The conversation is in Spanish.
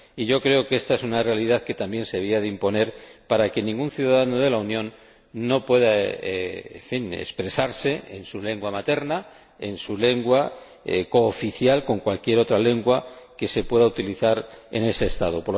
Yo creo que ésta es una realidad que también se debería imponer para que a ningún ciudadano de la Unión se le impida, en fin, expresarse en su lengua materna, en su lengua, cooficial con cualquier otra lengua que se pueda utilizar en ese Estado.